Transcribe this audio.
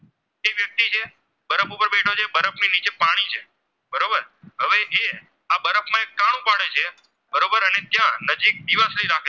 ત્યાં નજીક દિવસ